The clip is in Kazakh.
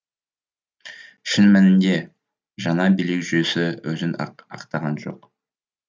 шын мәнінде жаңа билік жүйесі өзін ақтаған жоқ